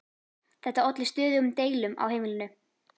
Þetta olli stöðugum deilum á heimilinu.